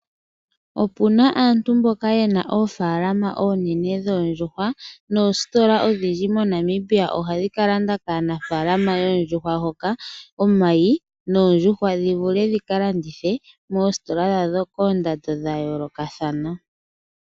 Opuna aantu mboka yena oofaalama oonene dhoondjuhwa noositola oonene moNamibia ohadhi ka landa kaanafaalama yoondjuhwa hoka omayi noondjuhwa dhi vule dhika landithwe moositola dhawo koondando dha yoolokathana.